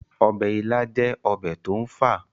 ọbẹ̀ ilá jẹ́ ọbẹ̀ tó ń fà